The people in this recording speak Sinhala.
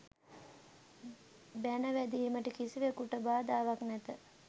බැන වැදීමට කිසිවෙකුට බාධාවක් නැත.